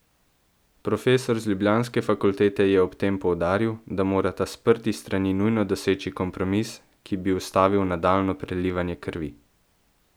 Profesor z ljubljanske fakultete je ob tem poudaril, da morata sprti strani nujno doseči kompromis, ki bi ustavil nadaljnjo prelivanje krvi.